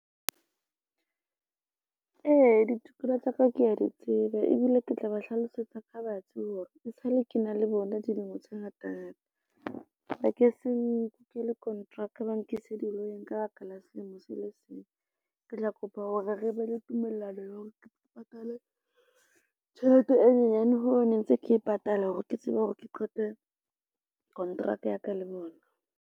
Ee, ditokelo tsa ka kea di tseba ebile ke tla ba hlalosetsa ka batsi hore e sale ke na le bona dilemo tse ngata ngata, ba ke se nke le kontraka, ba nkise di-lawyer-eng ka baka la selemo se le seng, ke tla kopa hore re be le tumellano ya hore ke patale tjhelete e nyenyane ho ne ntse ke e patala hore ke tsebe hore ke qete kontraka ya ka le bona.